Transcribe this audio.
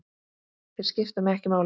Þeir skipta mig ekki máli.